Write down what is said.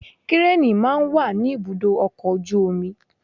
Kírení máa ń wà ní ibùdó ọkọ̀ ojú omi.